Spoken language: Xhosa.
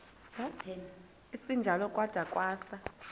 esinjalo kwada kwasa